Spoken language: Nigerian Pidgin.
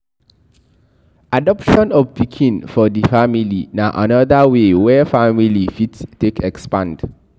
Adoption of pikin for di family na anoda way wey family fit take expand